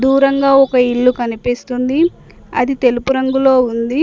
దూరంగా ఒక ఇల్లు కనిపిస్తుంది అది తెలుపు రంగులో ఉంది.